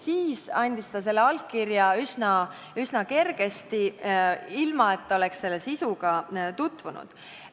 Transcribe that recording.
Siis andis ta selle allkirja üsna kergesti, ilma et oleks kirja sisuga tutvunud.